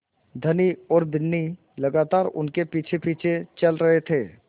धनी और बिन्नी लगातार उनके पीछेपीछे चल रहे थे